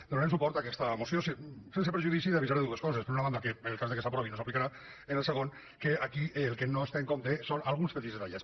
donarem suport a aquesta moció sense perjudici d’avisar de dues coses per una banda que en el cas que s’aprovi no s’aplicarà en el segon que aquí el que no es té en compte són alguns petits detallets